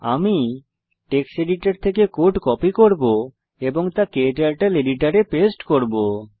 আমি text editor থেকে code copy করব এবং তা ক্টার্টল এডিটরে পেস্ট করব